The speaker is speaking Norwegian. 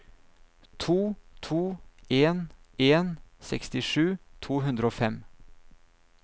to to en en sekstisju to hundre og fem